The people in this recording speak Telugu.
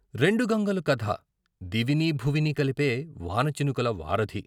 రెండు గంగలు కథ, దివినీ భువినీ కలిపే వానచినుకుల వారధి.